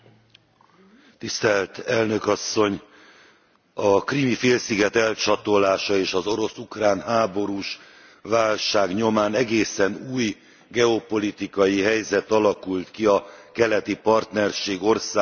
Elnök Asszony, a Krím félsziget elcsatolása és az orosz ukrán háborús válság nyomán egészen új geopolitikai helyzet alakult ki a keleti partnerség országainak viszonylatában.